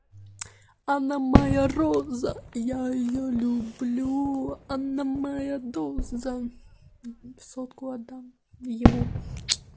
она моя роза я её люблю она моя доза сотку отдам ему